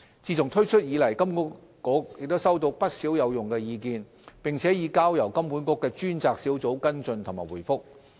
自推出以來，金管局收到不少有用的意見，並已交由金管局的專責小組跟進和回覆。